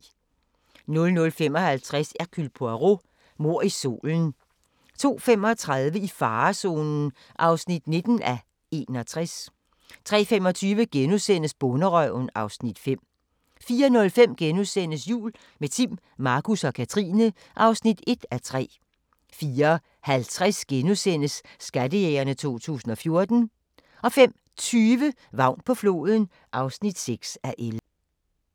00:55: Hercule Poirot: Mord i solen 02:35: I farezonen (19:61) 03:25: Bonderøven (Afs. 5)* 04:05: Jul – med Timm, Markus og Katrine (1:3)* 04:50: Skattejægerne 2014 * 05:20: Vagn på floden (6:11)